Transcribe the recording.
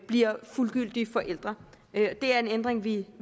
bliver fuldgyldig forælder det er en ændring vi